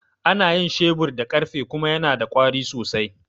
Ana yin shebir da ƙarfe kuma yana da ƙwari sosai.